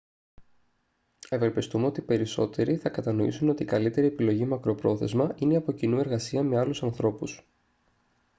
ευελπιστούμε ότι οι περισσότεροι θα κατανοήσουν ότι η καλύτερη επιλογή μακροπρόθεσμα είναι η από κοινού εργασία με άλλους ανθρώπους